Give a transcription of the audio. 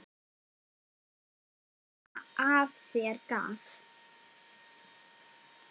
Bros sem af sér gaf.